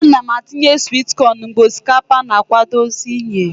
A g' m atinye swit cọn mgbe osikapa na akwadozi iye.